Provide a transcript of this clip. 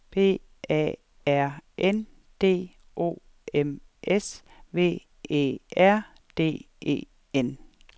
B A R N D O M S V E R D E N